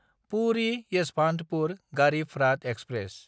पुरि–येसभान्तपुर Garib Rath express